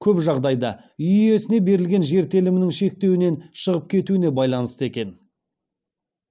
көп жағдайда үй иесіне берілген жер телімінің шектеуінен шығып кетуіне байланысты екен